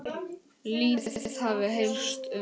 Lítið hafi heyrst um það.